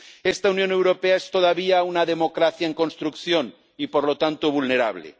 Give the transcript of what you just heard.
Esta Unión Europea es todavía una democracia en construcción y, por lo tanto, vulnerable.